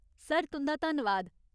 Sir, तुं'दा धन्नवाद।